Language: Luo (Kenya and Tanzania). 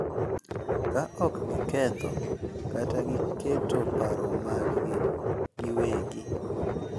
Ka ok giketho kata giketo paro maggi giwegi,